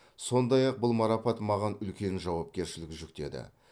сондай ақ бұл марапат маған үлкен жауапкершілік жүктеді